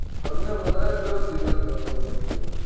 તમને વધારે કયો season ગમે મને એ ક્યો